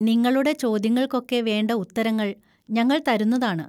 നിങ്ങളുടെ ചോദ്യങ്ങൾക്കൊക്കെ വേണ്ട ഉത്തരങ്ങൾ ഞങ്ങൾ തരുന്നതാണ്.